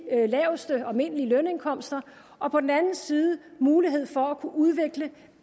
laveste og almindelige lønindkomster og på den anden side mulighed for at kunne udvikle